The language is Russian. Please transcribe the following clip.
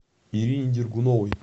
ирине дергуновой